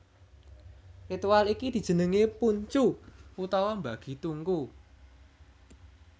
Ritual iki dijenengi Pun Chu utawa mbagi tungku